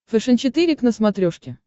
фэшен четыре к на смотрешке